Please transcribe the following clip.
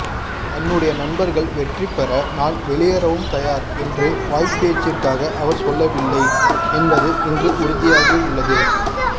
தன்னுடைய நண்பர்கள் வெற்றி பெற நான் வெளியேறவும் தயார் என்று வாய்ப்பேச்சிற்காக அவர் சொல்லவில்லை என்பது இன்று உறுதியாகியுள்ளது